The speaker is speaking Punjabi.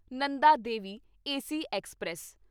Nanda Devi AC express